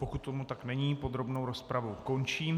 Pokud tomu tak není, podrobnou rozpravu končím.